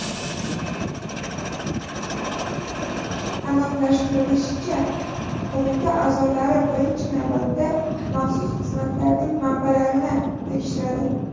Aniqlashtirilishicha, qo‘mita a’zolari birinchi navbatda maxsus xizmatlarning manbalarini tekshiradi.